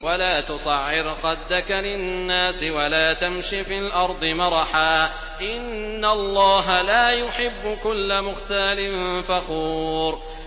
وَلَا تُصَعِّرْ خَدَّكَ لِلنَّاسِ وَلَا تَمْشِ فِي الْأَرْضِ مَرَحًا ۖ إِنَّ اللَّهَ لَا يُحِبُّ كُلَّ مُخْتَالٍ فَخُورٍ